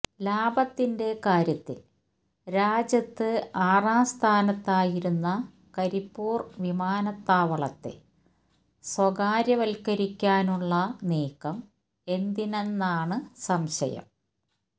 ലാഭത്തിന്റെ കാര്യത്തില് രാജ്യത്ത് ആറാം സ്ഥാനത്തായിരുന്ന കരിപ്പൂര് വിമാനത്താവളത്തെ സ്വകാര്യവല്ക്കരിക്കാനുളള നീക്കം എന്തിനെന്നാണ് സംശയം